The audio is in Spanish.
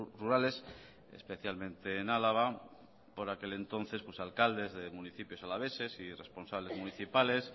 rurales especialmente en álava por aquel entonces alcaldes de municipios alaveses y responsables municipales